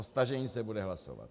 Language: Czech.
O stažení se bude hlasovat.